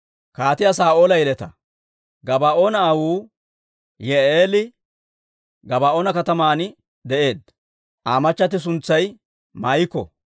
Gabaa'oona aawuu Yi'i'eeli Gabaa'oona kataman de'eedda. Aa machchatti suntsay Maa'iko.